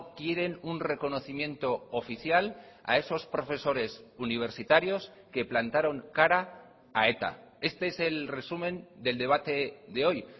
quieren un reconocimiento oficial a esos profesores universitarios que plantaron cara a eta este es el resumen del debate de hoy